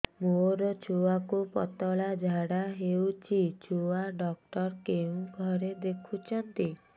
ମୋର ଛୁଆକୁ ପତଳା ଝାଡ଼ା ହେଉଛି ଛୁଆ ଡକ୍ଟର କେଉଁ ଘରେ ଦେଖୁଛନ୍ତି